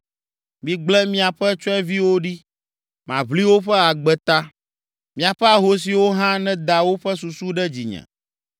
Migblẽ miaƒe tsyɔ̃eviwo ɖi, maʋli woƒe agbe ta. Miaƒe ahosiwo hã neda woƒe susu ɖe dzinye.”